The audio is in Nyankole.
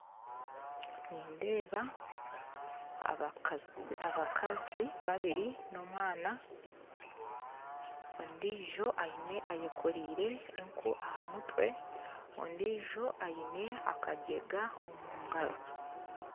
Nindeeba abakazi babiri n'omwana ondiijo ayekoreire enku aha mutwe kandi ondiijo aine akagyega omugaro